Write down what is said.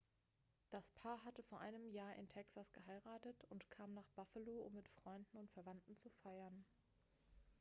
das paar hatte vor einem jahr in texas geheiratet und kam nach buffalo um mit freunden und verwandten zu feiern